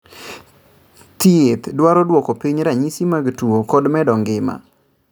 Thiedh dwaro duoko piny ranyisi mag tuo kod medo ngima